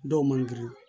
Dɔw man girin